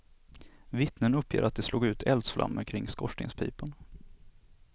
Vittnen uppger att det slog ut eldsflammor kring skorstenspipan.